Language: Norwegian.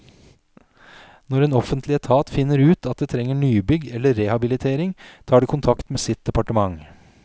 Når en offentlig etat finner ut at det trenger nybygg eller rehabilitering, tar det kontakt med sitt departement.